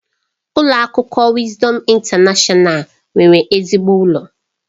Ụlọ akwụkwọ Wisdom Intanashọnal nwere ezigbo ụlọ.